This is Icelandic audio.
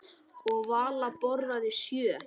Og Vala borðaði sjö.